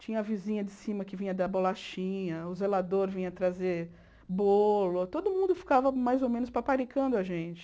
Tinha a vizinha de cima que vinha dar bolachinha, o zelador vinha trazer bolo, todo mundo ficava mais ou menos paparicando a gente.